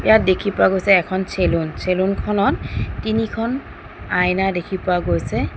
ইয়াত দেখি পোৱা গৈছে এখন চেলুন চেলুন খনত তিনিখন আইনা দেখি পোৱা গৈছে।